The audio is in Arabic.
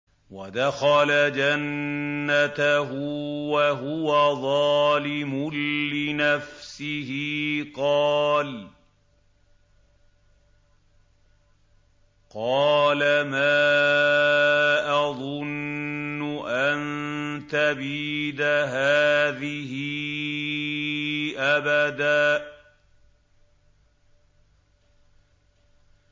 وَدَخَلَ جَنَّتَهُ وَهُوَ ظَالِمٌ لِّنَفْسِهِ قَالَ مَا أَظُنُّ أَن تَبِيدَ هَٰذِهِ أَبَدًا